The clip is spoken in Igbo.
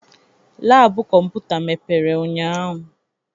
Laabu kọmputa mepere ụnyahụ.